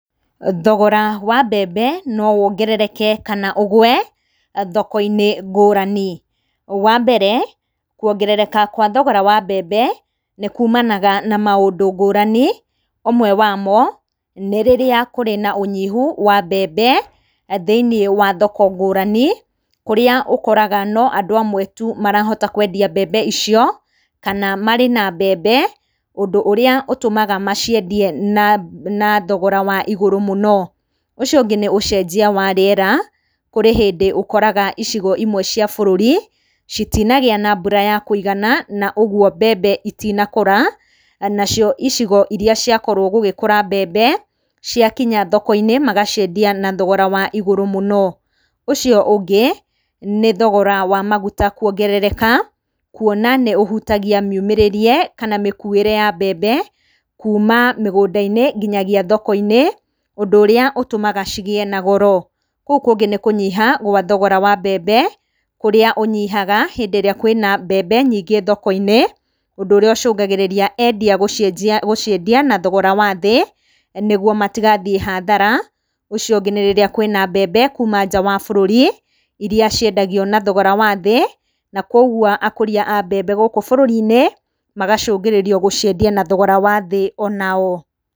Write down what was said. Thogora wa mbembe no wongerereke kana ũgwe thoko-inĩ ngũrani, wa mbere, kũongerereka gwa thogora wa mbembe, nĩ kuumanaga na maũndũ ngũrani, ũmwe wamo, nĩ rĩrĩa kũrĩ na ũnyihu wa mbembe, thĩinĩ wa thoko ngũrani, kũrĩa ũkoraga no andũ amwe tu marahota kwendia mbembe icio, kana marĩ na mbembe, ũndũ ũrĩa ũtũmaga maciendie na na thogora wa igũrũ mũno, ũcio ũngĩ nĩ ũcenjia wa rĩera, kũrĩ hĩndĩ ũkoraga icigo imwe cia bũrũri, citinagĩa na mbura ya kũigana, na ũguo mbembe itinakũra, nacio icigo iria ciakorwo gũgĩkũra mbembe, ciakinya thoko-inĩ magaciendia na thogora wa igũrũ mũno, ũcio ũngĩ, nĩ thogora wa maguta kwongerereka, kuona nĩ ũhutagia mĩumĩrĩria. kana mĩkuĩre ya mbembe, kuuma mĩgũnda-inĩ, nginagia thoko-inĩ, ũndũ ũrĩa ũtũmaga cigĩe na goro, kũu kũngĩ nĩ kũnyiha kwa thogora wa mbembe, kũrĩa ũnyihaga hĩndĩ ĩrĩa kwĩna mbembe nyingĩ thoko-inĩ, ũndũ ũrĩa ũcũngagĩrĩria endia gũcienjia gũciendia na thogora wathĩ, nĩoguo matigathiĩ hathara, ũcio ũgĩ nĩ rĩrĩa kwĩna mbembe kuuma nja wa bũrũri, iria ciendagio na thogorora wathĩ, na kwoguo akũria a mbembe gũkũ bũrũri-inĩ, magacũngĩrĩrio gũciendia na thogora wa thĩ onao.